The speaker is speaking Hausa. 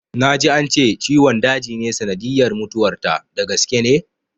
Na ji ance ciwon daji ne sanadiyyar mutuwar ta, da gaske ne?